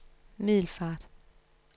Middelfart